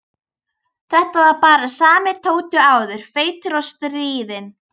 Þetta var bara sami Tóti og áður, feitur og stríðinn.